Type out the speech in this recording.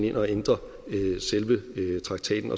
ind og ændre selve traktaten